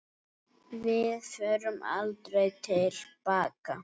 Við förum aldrei til baka.